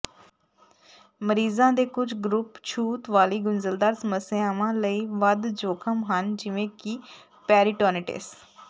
ਮਰੀਜ਼ਾਂ ਦੇ ਕੁਝ ਗਰੁੱਪ ਛੂਤ ਵਾਲੀ ਗੁੰਝਲਦਾਰ ਸਮੱਸਿਆਵਾਂ ਲਈ ਵੱਧ ਜੋਖਮ ਹਨ ਜਿਵੇਂ ਕਿ ਪੈਰੀਟੋਨਿਟਿਸ